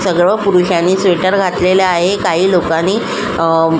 सगळं पुरुषांनी स्वेटर घातलेलं आहे काही लोकांनी अ--